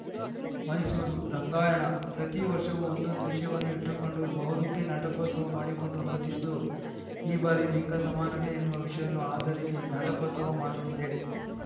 ಮೈಸೂರು ರಂಗಾಯಣ ಪ್ರತಿ ವರ್ಷವೂ ಒಂದೊಂದು ವಿಷಯವನ್ನು ಇಟ್ಟುಕೊಂಡು ಬಹುರೂಪಿ ನಾಟಕೋತ್ಸವ ಮಾಡಿಕೊಂಡು ಬರುತ್ತಿದ್ದು ಈ ಬಾರಿ ಲಿಂಗ ಸಮಾನತೆ ಎನ್ನುವ ವಿಷಯವನ್ನು ಆಧರಿಸಿ ನಾಟಕೋತ್ಸವ ಮಾಡುತ್ತಿದೆ